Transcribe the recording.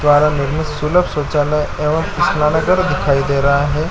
द्वारा निर्मित सुलभ शौचालय एवं स्नानागार दिखाई दे रहा हैं।